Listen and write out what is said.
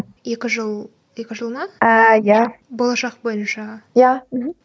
екі жыл екі жыл ма ааа иә болашақ бойынша иә мхм